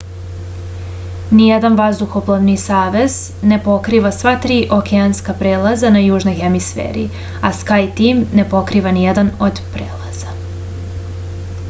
ниједан ваздухопловни савез не покрива сва 3 океанска прелаза на јужној хемисфери а скајтим не покрива ниједан од прелаза